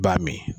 Baa min